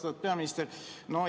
Austatud peaminister!